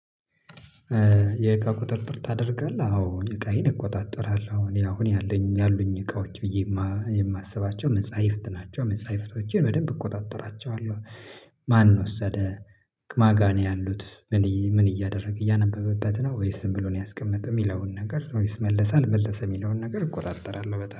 የእቃ ቁጥጥር ታደርጋለህ አዎ እኔ እቃዬን እቆጣጠራለሁ እኔ አሁን ያለኝ ያሉኝ እቃዎች ብዬ እማ የማስባቸው መፃይፍት ናቸው መጻይፍቶቼን በደንብ እቆጣጠራቸዋለሁ። ማን ወሰደ? ማጋ ነው ያሉት ምን ምን እያደረገ እያነበበበት ነው? ወይስ ዝም ብሎ ነው ያስቀመጠው? እሚለውን ነገር ወይስ መለሰ አልመለሰ የሚለውን ነገር እቆራርጥራለሁ በተለይ